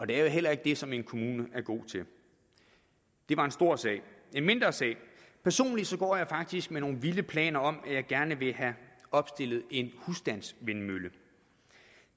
det er jo heller ikke det som en kommune er god til det var en stor sag en mindre sag er personligt går jeg faktisk med nogle vilde planer om at jeg gerne vil have opstillet en husstandsvindmølle